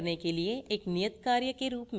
हल करने के लिए एक नियतकार्य के रूप में